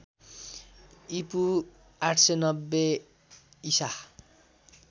ईपू ८९० ईसा